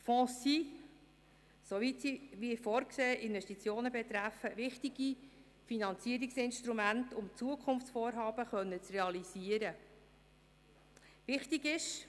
Fonds sind, soweit sie wie vorgesehen Investitionen betreffen, wichtige Finanzierungsinstrumente, mit denen Zukunftsvorhaben realisiert werden können.